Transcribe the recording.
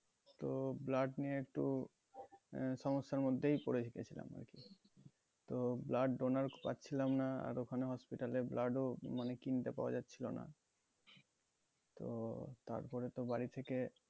তো blood নিয়ে একটু আহ সমস্যার মধ্যেই পরে গেছিলাম আরকি তো blood donor পাচ্ছিলাম না আর ওখানে hospital এ blood ও মানে কিনতে পাওয়া যাচ্ছিল না তো তারপরে তো বাড়ি থেকে